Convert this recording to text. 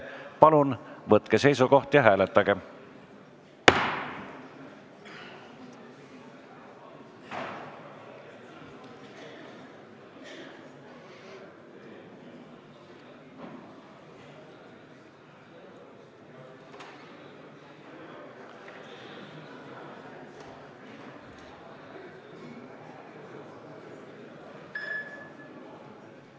Palun võtke seisukoht ja hääletage!